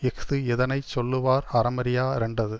இஃது இதனை சொல்லுவார் அறமறியா ரென்டது